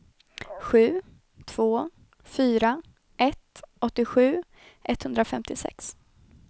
sju två fyra ett åttiosju etthundrafemtiosex